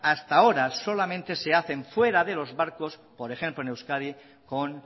hasta ahora solamente se hacen fuera de los barcos por ejemplo en euskadi con